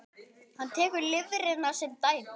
Hann tekur lifrina sem dæmi.